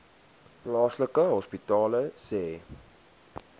plaaslike hospitale sê